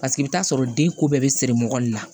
Paseke i bɛ t'a sɔrɔ den ko bɛɛ bɛ siri mugan ni na